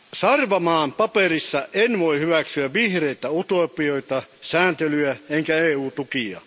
Sarvamaan mietinnössä en voi hyväksyä vihreitä utopioita, sääntelyä enkä EU tukia.